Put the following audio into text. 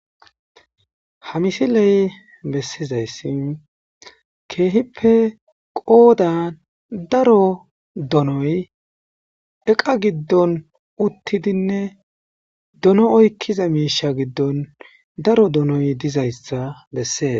Ha misiley bessizayssi keehippe qoodan daro donoy eqa giddon uttidinne dono oykkiza miisha giddon daro donoy dizayssa bessees.